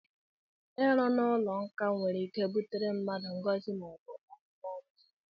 Ịrụ n'ụlọ nkà nwereike butere mmadụ ngọzi maọbụ abụmọnụ